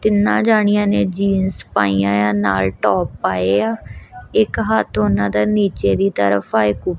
ਤਿਨਾਂ ਜਾਣੀਆਂ ਨੇ ਜੀਨਸ ਪਾਈਆਂ ਏ ਆ ਨਾਲ ਟੋਪ ਪਾਏ ਆ ਇੱਕ ਹੱਥ ਉਹਨਾਂ ਦਾ ਨੀਚੇ ਦੀ ਤਰਫ ਆ ਇੱਕ ਉਪ--